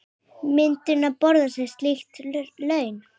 Myndum við borga slík laun?